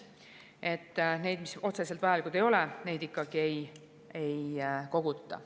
Neid andmeid, mis otseselt vajalikud ei ole, ikkagi ei koguta.